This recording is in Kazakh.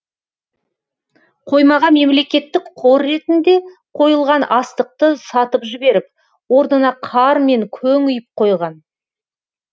қоймаға мемлекеттік қор ретінде қойылған астықты сатып жіберіп орнына қар мен көң үйіп қойған